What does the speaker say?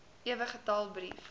ewe getal brief